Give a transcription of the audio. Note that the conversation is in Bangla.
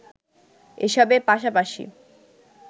এসবের পাশাপাশি